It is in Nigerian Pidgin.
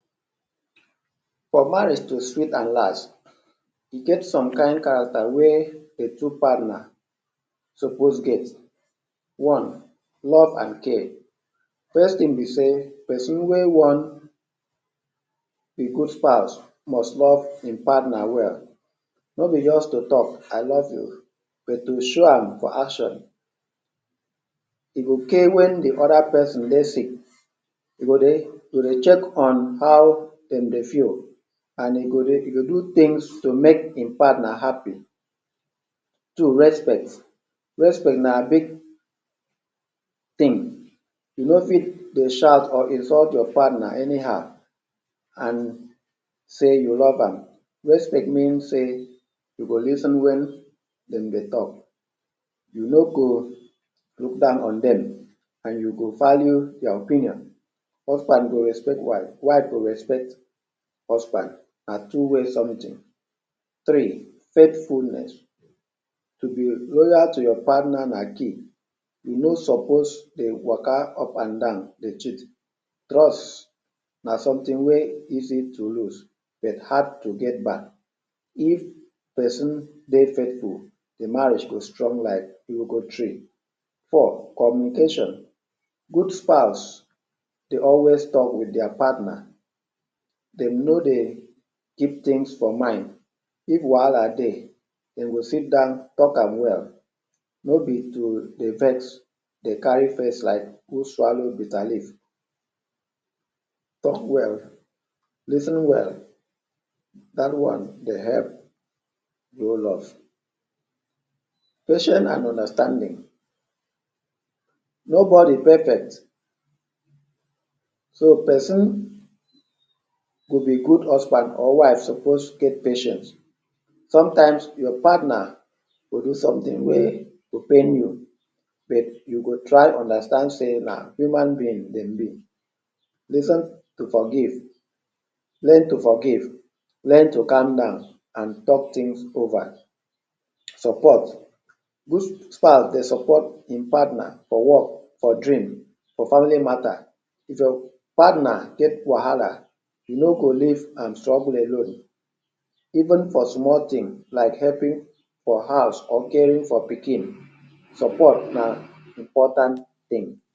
For marriage to sweet and last, e get some kain character wey de two partner suppose get. One, love and care. First thing be sey person wey want a good spouse must love im partner well. No be just to talk, “I love you” but to show am for action. E okay wen de other person dey sick, e go dey dey check on how dem dey feel and e go dey e go do things to make im partner happy. Two, respect. Respect na big thing. You no fit dey shout or insult your partner anyhow and say you love am. Respect mean sey you go lis ten wen dem dey talk. You no go look down on dem and you go value their opinion. Husband go respect wife, wife go respect husband. Na two way something. Three, faithfulness. To be loyal to your partner na key. You no suppose dey waka up and down dey cheat. Trust na something wey easy to lose but hard to get back. If person dey faithful, de marriage go strong like iroko tree. Four, communication. Good spouse dey also talk wit their partner. Dem no dey keep things for mind, if wahala dey dem go sit down talk am well, no be to dey vex, dey carry face like who swallow bitterleaf. Talk well, lis ten well, dat one dey help grow love. Patient and understanding, nobody perfect. So person wit a good husband or wife suppose get patience. Sometimes your partner go do something wey go pain you but you go try understand sey na human being dem be.? to forgive, learn to forgive, learn to calm down and talk things over. Support, use style dey support im partner for work, for dream, for family matter. If your partner get wahala you no go leave am struggle alone even for small thing like helping for house or caring for pikin. Support na important thing.